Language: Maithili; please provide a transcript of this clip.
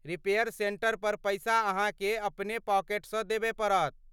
रिपेयर सेंटर पर पैसा अहाँके अपने पॉकेटसँ देबय पड़त।